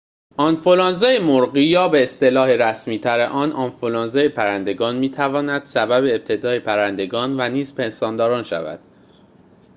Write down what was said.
آنفولانزای مرغی یا به‌اصطلاح رسمی‌تر آن آنفولانزای پرندگان می‌تواند سبب ابتلای پرندگان و نیز پستانداران شود